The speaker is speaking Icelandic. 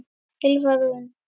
Ylfa Rún.